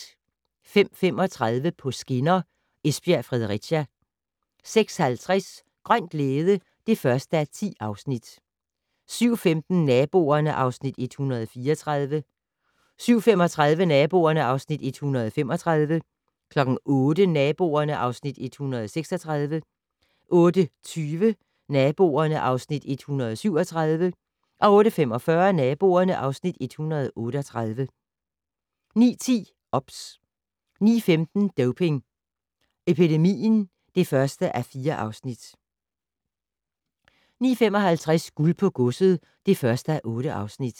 05:35: På skinner: Esbjerg-Fredericia 06:50: Grøn glæde (1:10) 07:15: Naboerne (Afs. 134) 07:35: Naboerne (Afs. 135) 08:00: Naboerne (Afs. 136) 08:20: Naboerne (Afs. 137) 08:45: Naboerne (Afs. 138) 09:10: OBS 09:15: Doping Epidemien (1:4) 09:55: Guld på godset (1:8)